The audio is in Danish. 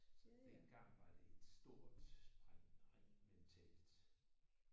Så dengang var det et stort spring rent mentalt